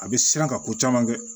A bɛ siran ka ko caman kɛ